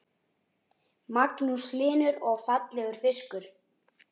Magnús Hlynur: Og fallegur fiskur?